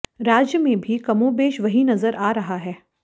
राज्य में भी कमोबेश वही नजर आ रहा है